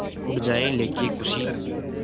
उड़ जाएं लेके ख़ुशी